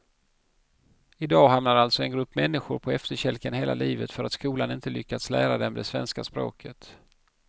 I dag hamnar alltså en grupp människor på efterkälken hela livet för att skolan inte lyckats lära dem svenska språket.